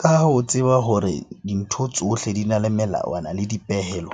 Ka ha o tseba hore dintho tsohle di na le melawana le dipehelo.